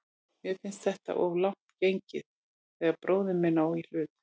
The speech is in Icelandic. Mér finnst þetta of langt gengið þegar bróðir minn á í hlut.